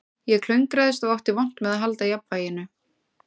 Ég klöngraðist og átti vont með að halda jafnvæginu